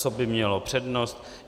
Co by mělo přednost?